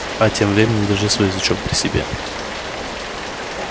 а тем временем держи свой язычок при себе